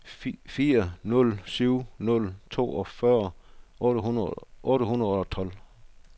fire nul syv nul toogfyrre otte hundrede og tolv